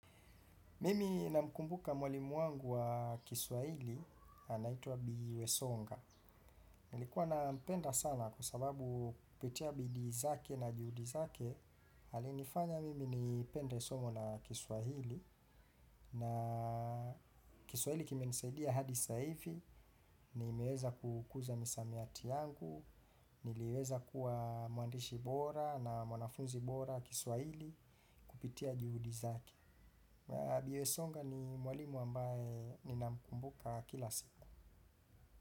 Mimi namkumbuka mwalimu wangu wa kiswahili, anaitwa Bi wesonga. Nilikuwa na mpenda sana kwasababu kupitia bidii zake na juhudi zake. Alinifanya mimi nipende somo la Kiswahili. Na kiswahili kimenisaidia hadi sasa hivi, nimeweza kukuza misamiati yangu. Niliweza kuwa mwandishi bora na mwanafuzi bora Kiswahili, kupitia juhudi zake. Bi wesonga ni mwalimu ambaye ninamkumbuka kila siku.